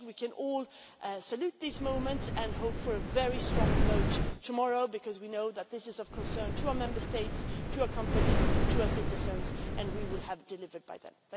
I think we can all salute this moment and hope for a very strong vote tomorrow because we know that this is of concern to our Member States, to our companies, to our citizens, and we will have delivered by then.